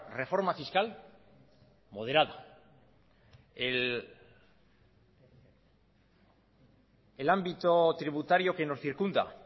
reforma fiscal moderada el ámbito tributario que nos circunda